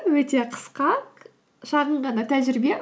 өте қысқа шағын ғана тәжірибе